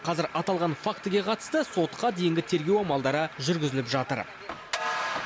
қазір аталған фактіге қатысты сотқа дейінгі тергеу амалдары жүргізіліп жатыр